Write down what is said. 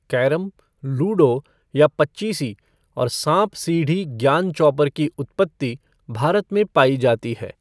Carrom, ludo या पचीसी और साँप सीढ़ी ज्ञान चौपर की उत्पत्ति भारत में पायी जाती है।